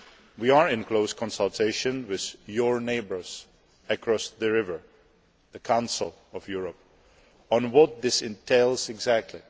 We are in close consultation with your neighbours across the river, the Council of Europe, on what this entails exactly.